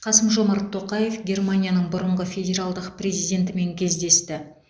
қасым жомарт тоқаев германияның бұрынғы федералдық президентімен кездесті